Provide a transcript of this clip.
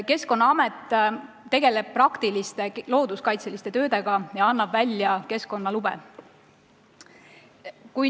Keskkonnaamet tegeleb praktiliste looduskaitseliste töödega ja annab välja keskkonnalube.